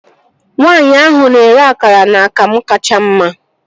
Nwaanyi ahụ na-ere akara na akamu kacha mma